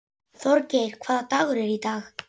Þorgeir, hvaða dagur er í dag?